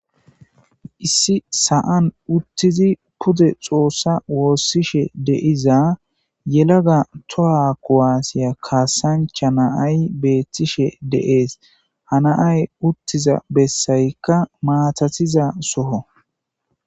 issi sa7an uttizi pude xoossa woossishe deiza yelaga toha kuwaasiya kaasancha naay beettishe deees hanaay uttiza bessaykka maatatiza soho